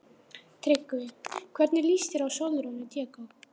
TRYGGVI: Hvernig líst þér á Sólrúnu?